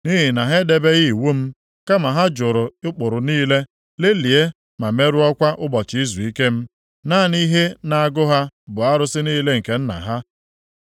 nʼihi na ha edebeghị iwu m, kama ha jụrụ ụkpụrụ niile, lelịa ma merụọkwa ụbọchị izuike m. Naanị ihe na-agụ ha bụ arụsị niile nke nna ha.